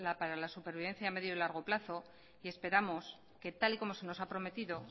para la supervivencia a medio y largo plazo y esperamos que tal y como se nos ha prometido